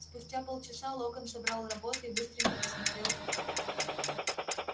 спустя полчаса локонс собрал работы и быстренько просмотрел их